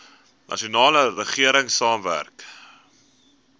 nasionale regering saamwerk